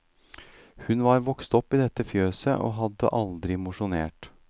Hun var vokst opp i dette fjøset og hadde aldri mosjonert.